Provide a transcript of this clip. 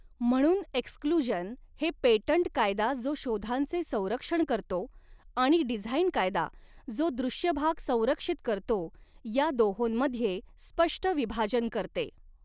म्हणून एक्सक्लुजन हे पेटंट कायदा जो शोधांचे संरक्षण करतो आणि डिझाइन कायदा जो दॄश्यभाग संरक्षित करतो या दोहॊंमध्ये स्पष्ट विभाजन करते.